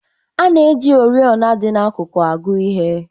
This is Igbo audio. A na-eji oriọna dị n'akụkụ agụ ihe